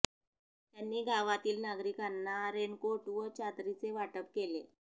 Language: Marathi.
त्यांनी गावातील नागरिकांना रेनकोट व चादरीचे वाटप केले